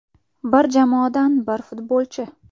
Bir jamoadan bir futbolchi.